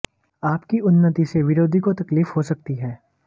आप की उन्नती से विरोधी को तकलीफ हो सकती है